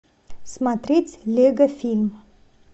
смотреть лего фильм